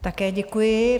Také děkuji.